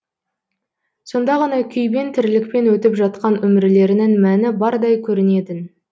сонда ғана күйбең тірлікпен өтіп жатқан өмірлерінің мәні бардай көрінетін